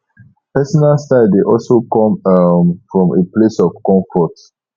personal style de also come um from a place of comfort